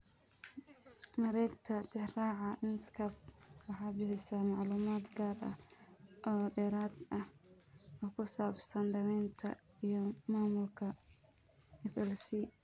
Mareegta Tixraaca Medscape waxay bixisaa macluumaad gaar ah oo dheeraad ah oo ku saabsan daaweynta iyo maamulka FLC.